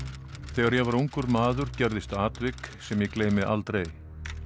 þegar ég var ungur maður gerðist atvik sem ég gleymi aldrei